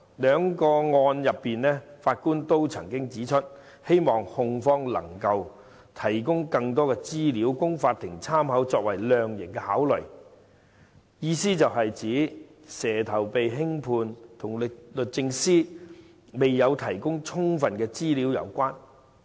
兩宗個案的法官都曾指出，希望控方能提供更多資料供法律參考作為量刑考慮，意指"蛇頭"被輕判與律政司未有提供充分資料有關。